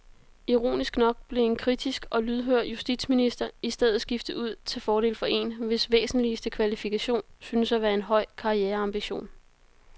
Ironisk nok blev en kritisk og lydhør justitsminister i stedet skiftet ud til fordel for en, hvis væsentligste kvalifikation synes at være en høj karriereambition.